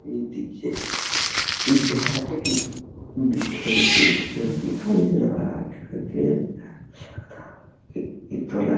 ये देखिये ये घर है की खिड़की --